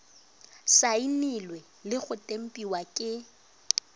saenilwe le go tempiwa ke